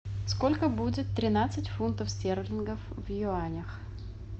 сколько будет тринадцать фунтов стерлингов в юанях